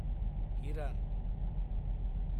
हिरान